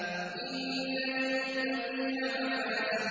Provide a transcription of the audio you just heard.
إِنَّ لِلْمُتَّقِينَ مَفَازًا